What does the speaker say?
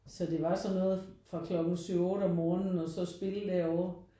Så det var sådan noget fra klokken 7 8 om morgenen og så spille derover